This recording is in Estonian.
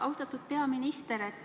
Austatud peaminister!